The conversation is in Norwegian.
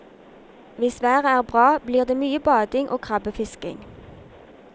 Hvis været er bra, blir det mye bading og krabbefisking.